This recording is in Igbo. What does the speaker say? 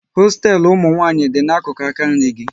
Hosteelu ụmụnwanyị dị n'akụkụ aka nri gị